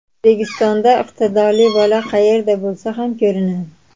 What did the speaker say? O‘zbekistonda iqtidorli bola qayerda bo‘lsa ham ko‘rinadi.